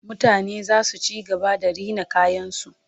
mutane zasu ci gaba da Rina kayan su